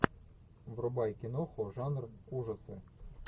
врубай киноху жанр ужасы